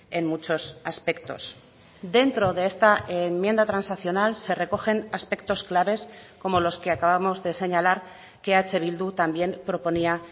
en muchos aspectos dentro de esta enmienda transaccional se recogen aspectos claves como los que acabamos de señalar que eh bildu también proponía